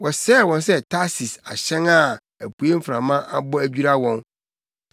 Wosɛe wɔn sɛ Tarsis ahyɛn a apuei mframa abɔ adwira wɔn.